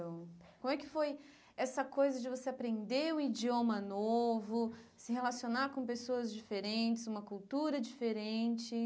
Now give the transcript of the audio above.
Como é que foi essa coisa de você aprender um idioma novo, se relacionar com pessoas diferentes, uma cultura diferente?